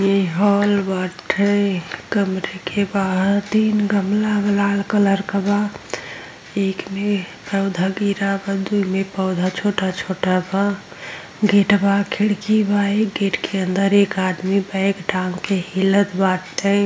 इ हॉल बाटे। इ कमरे के बाहर तीन गमला लाल कलर क बा। एक मे पौधा गिरा बा। दु पौधा छोटा छोटा बा। गेट बा। खिड़की बा। गेट अंदर एक आदमी बैग टांग के हिलत बाटे।